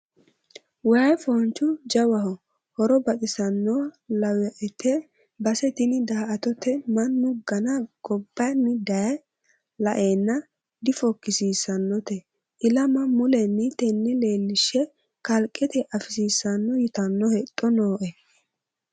Waayi foonchu jawaho horo baxisanoho lawaete base tini daa"attote mannu gana gobbanni daye laenna difokisiisanote ilama mulenni tene leellishe kalqete afisiisano yittano hexxo nooe.